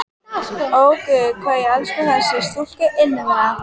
Ó, guð, hvað ég elska þessa stúlku innilega!